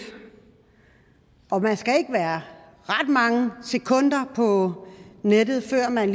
man skal ikke være ret mange sekunder på nettet før man